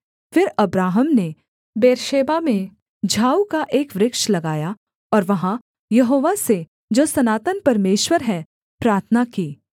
फिर अब्राहम ने बेर्शेबा में झाऊ का एक वृक्ष लगाया और वहाँ यहोवा से जो सनातन परमेश्वर है प्रार्थना की